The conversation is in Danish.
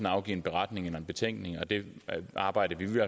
afgive en beretning eller en betænkning og det arbejde vil